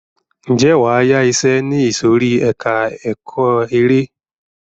Ǹjẹ́ wàá yá iṣẹ ní ìsòrí ẹka ẹ̀kọ́ eré.